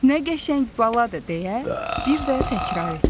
Nə qəşəng baladır deyə, bir də təkrar etdi.